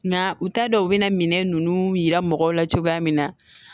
Nga u t'a dɔn u bɛ na minɛn ninnu yira mɔgɔw la cogoya min na